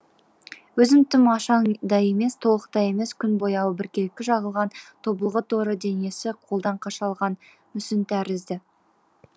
өзі тым ашаң да емес толықта емес күн бояуы біркелкі жағылған тобылғы торы денесі қолдан қашалған мүсін тәрізді